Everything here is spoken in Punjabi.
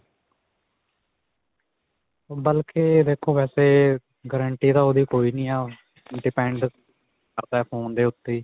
ਬਲਕਿ, ਦੇਖੋ ਵੈਸੇ guarantee ਤਾਂ ਓਹਦੀ ਕੋਈ ਨਹੀਂ ਹੈ. depend ਕਰਦਾ phone ਦੇ ਉੱਤੇ ਹੀ.